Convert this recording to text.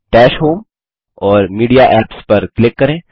दश होम और media apps पर क्लिक करें